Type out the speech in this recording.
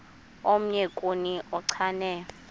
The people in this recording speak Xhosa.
omnye kuni uchane